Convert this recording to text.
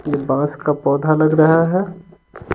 ये बाँस का पौधा लग रहा है।